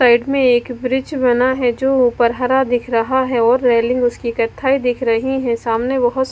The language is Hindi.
साइड में एक ब्रिज बना है जो ऊपर हरा दिख रहा है और रेलिंग उसकी कत्थई दिख रही है सामने बहोत--